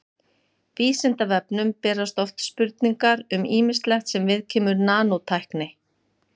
Vísindavefnum berast oft spurningar um ýmislegt sem viðkemur nanótækni.